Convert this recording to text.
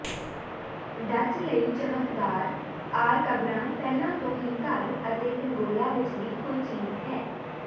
Dutch ਲਈ ਚਮਕਦਾਰ ਆਰਕਬਰਾਂ ਪਹਿਲਾਂ ਤੋਂ ਹੀ ਘਰ ਅਤੇ ਪਿੰਗੋਲਾ ਵਿਚਲੀ ਕੋਈ ਚੀਜ਼ ਹੈ